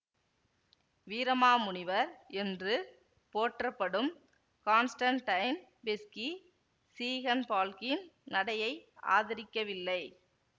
வீரமாமுனிவர் என்று போற்றப்படும் Constantine Beschi சீகன்பால்க்கின் நடையை ஆதரிக்கவில்லை